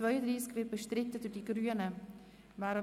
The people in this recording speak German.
wir stimmen darüber ab.